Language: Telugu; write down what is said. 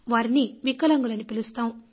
వారిని వికలాంగులని పిలుస్తాం